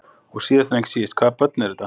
Og síðast en ekki síst, hvaða börn eru þetta?